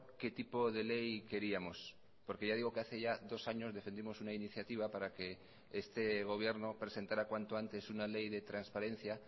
qué tipo de ley queríamos porque ya digo que hace ya dos años defendimos una iniciativa para que este gobierno presentara cuanto antes una ley de transparencia